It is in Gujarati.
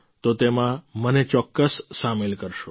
તો તેમાં મને ચોક્કસ સામેલ કરશો